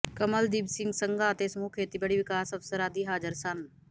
ਕਮਲਦੀਪ ਸਿੰਘ ਸੰਘਾ ਅਤੇ ਸਮੂਹ ਖੇਤੀਬਾੜੀ ਵਿਕਾਸ ਅਫਸਰ ਆਦਿ ਹਾਜ਼ਰ ਸਨ